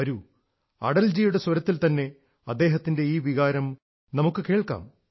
വരൂ അടൽജിയുടെ സ്വരത്തിൽതന്നെ അദ്ദേഹത്തിന്റെ ഈ വികാരം നമുക്കു കേൾക്കാം